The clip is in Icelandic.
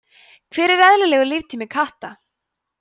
hver er eðlilegur líftími katta